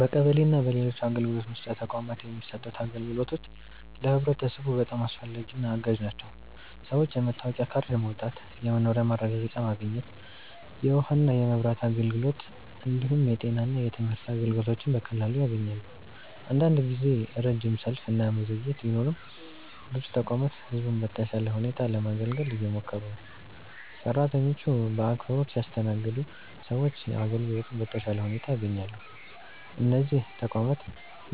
በቀበሌ እና በሌሎች አገልግሎት መስጫ ተቋማት የሚሰጡት አገልግሎቶች ለህብረተሰቡ በጣም አስፈላጊና አጋዥ ናቸው። ሰዎች የመታወቂያ ካርድ ማውጣት፣ የመኖሪያ ማረጋገጫ ማግኘት፣ የውሃና የመብራት አገልግሎት እንዲሁም የጤና እና የትምህርት አገልግሎቶችን በቀላሉ ያገኛሉ። አንዳንድ ጊዜ ረጅም ሰልፍ እና መዘግየት ቢኖርም ብዙ ተቋማት ህዝቡን በተሻለ ሁኔታ ለማገልገል እየሞከሩ ነው። ሰራተኞቹ በአክብሮት ሲያስተናግዱ ሰዎች አገልግሎቱን በተሻለ ሁኔታ ያገኛሉ። እነዚህ ተቋማት